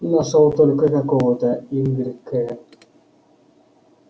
нашёл только какого-то игорь к